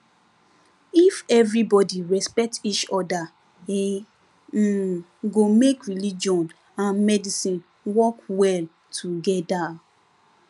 if everybody respect each other e um go make religion and medicine work well together